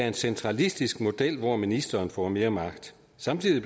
en centralistisk model hvor ministeren får mere magt samtidig